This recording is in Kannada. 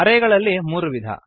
ಅರೇಗಳಲ್ಲಿ ಮೂರು ವಿಧ